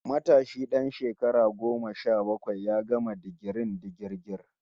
Matashi dan shekara goma sha bakwai ya gama digirin digirgir